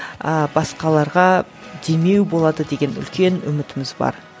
ыыы басқаларға демеу болады деген үлкен үмітіміз бар